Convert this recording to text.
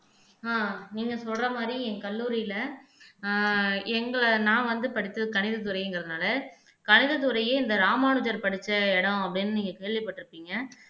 ஆஹ் நீங்க சொல்ற மாதிரி என் கல்லூரியிலே ஆஹ் எங்களை நான் வந்து படிச்சது கணிதத்துறைங்கிறதுனாலே கணித துறையே இந்த ராமானுஜர் படிச்ச இடம் அப்படின்னு நீங்க கேள்விப்பட்டிருப்பீங்க